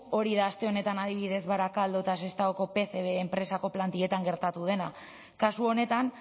hori da aste honetan adibidez barakaldo eta sestaoko pcb enpresako plantilletan gertatu dena kasu honetan